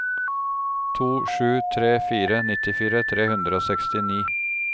to sju tre fire nittifire tre hundre og sekstini